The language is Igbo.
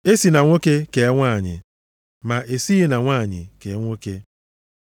E si na nwoke kee nwanyị, ma e sighị na nwanyị kee nwoke.